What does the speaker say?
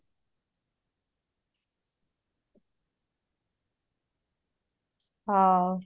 ହଉ